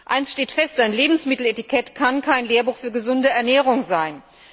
Eins steht fest Ein Lebensmitteletikett kann kein Lehrbuch für gesunde Ernährung sein.